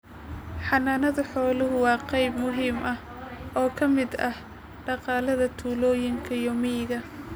Xanaanada xoolaha waa qayb muhiim ah oo ka mid ah dhaqaalaha tuulooyinka iyo miyiga.